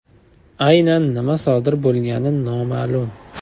Aynan nima sodir bo‘lgani noma’lum.